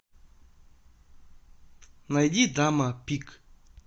найди дама пик